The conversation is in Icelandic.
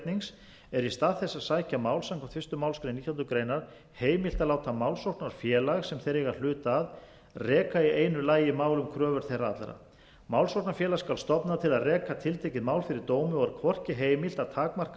löggernings er í stað þess að sækja mál samkvæmt fyrstu málsgrein nítjánda grein heimilt að láta málsóknarfélag sem þeir eiga hlut að reka í einu lagi málkröfur þeirra allra málsóknarfélag skal stofna til að reka tiltekið mál fyrir dómi og er hvorki heimilt að takmarka